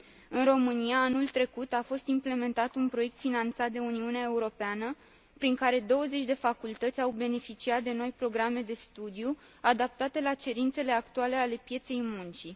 În România, anul trecut a fost implementat un proiect finanțat de Uniunea Europeană, prin care douăzeci de facultăți au beneficiat de noi programe de studiu, adaptate la cerințele actuale ale pieței muncii.